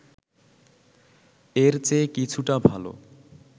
এর চেয়ে কিছুটা ভালো